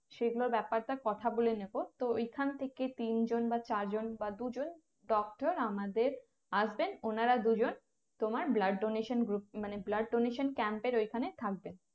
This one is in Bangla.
সেগুলো ব্যাপারটা কথা বলে নিবো তো এখন থেকেই তিন জন বা চার জন বা দুজন doctor আমাদের আসবেন ওনারা দুজন তোমার blood donation group মানে blood donation camp এর ওখানে থাকবেন